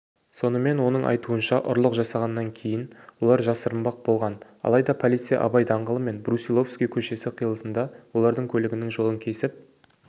сонымен оның айтуынша ұрлық жасағаннан кейін олар жасырынбақ болған алайда полиция абай даңғылы мен брусиловский көшесі қиылысында олардың көлігінің жолын кесіп